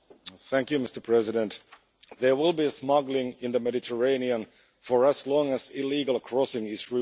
Mr President, there will be smuggling in the Mediterranean for as long as illegal crossing is rewarded.